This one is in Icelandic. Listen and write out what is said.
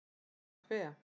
Eða hve